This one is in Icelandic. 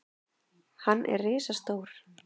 Hann er risastór.